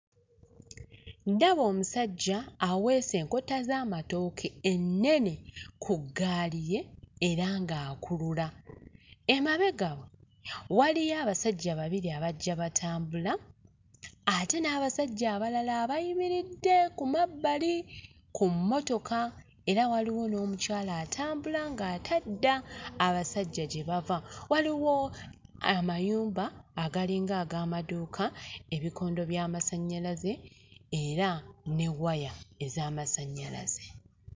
Ndaba omusajja aweese enkota z'amatooke ennene ku ggaali ye era ng'akulula. Emabega we waliyo abasajja babiri abajja batambula ate n'abasajja abalala abayimiridde ku mabbali ku mmotoka era waliwo n'omukyala atambula ng'ate adda abasajja gye bava, waliwo amayumba agalinga ag'amaduuka, ebikondo by'amasannyalaze era ne waya ez'amasannyalaze.